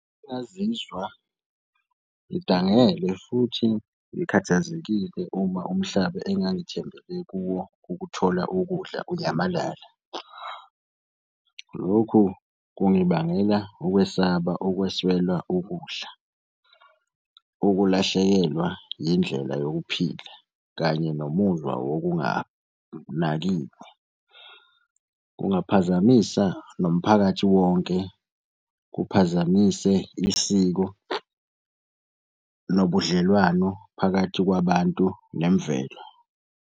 Bengingazizwa ngidangele futhi ngikhathazekile uma umhlaba engangithembele kuwo ukuthola ukudla unyamalala. Lokhu kungibangela ukwesaba ukweswelwa ukudla, ukulahlekelwa yindlela yokuphila, kanye nomuzwa wokunganakiwe. Kungaphazamisa nomphakathi wonke, kuphazamise isiko nobudlelwano phakathi kwabantu nemvelo.